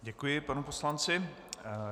Děkuji panu poslanci.